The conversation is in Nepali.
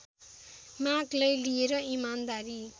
मागलाई लिएर इमानदारी